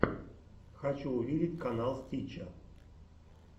хочу увидеть канал стича